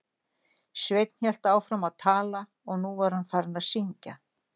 Sveinn hélt áfram að tala og nú var hann farinn að syngja